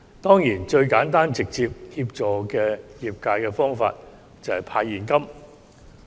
當然，最簡單直接協助業界的方法就是派現金。